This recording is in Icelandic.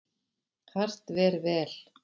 Hart ver vel.